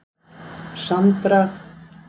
Sandra